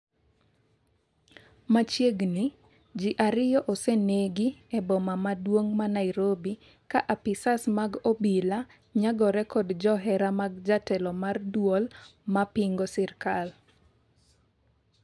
Machiegni ji ariyo osenegi e boma maduong' ma Narobi ka apisas mag obila nyagore kod johera mag jatelo mar duol ma pingo sirikal